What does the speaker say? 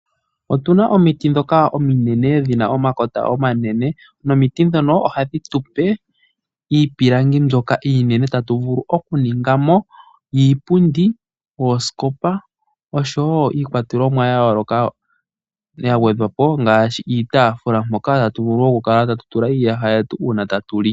Otu na omiti ndhoka ominene dhi na omakota omanene nomiti ndhono ohadhi tu pe iipilangi mbyoka iinene tatu vulu okuninga mo iipundi, oosikopa osho wo iikwatelomwa yayooloka ya gwedhwa po ngaashi iitaafula mpoka tatu vulu okukala tatu tula iiyaha yetu uuna tatu li.